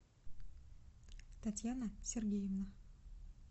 татьяна сергеевна